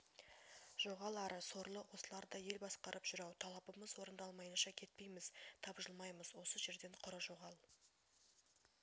жоғал ары сорлы осылар да ел басқарып жүр-ау талабымыз орындалмайынша кетпейміз табжылмаймыз осы жерден құры жоғал